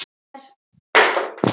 Hann er.